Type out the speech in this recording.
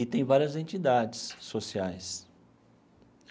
E tem várias entidades sociais.